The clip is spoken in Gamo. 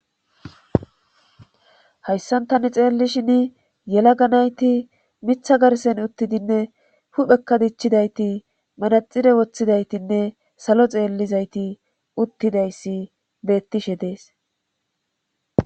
Hayssan tani xeellishin yela ganayti mitha garsen uttidinne huphekka dichchidayti manaxire woththidaytinne salo xeellizayti uttidayssi bettishe dees